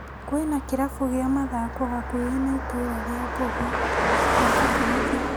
Kwĩna kĩrabu gĩa mathako hakuhĩ na itũra rĩa ngogũ raka kothi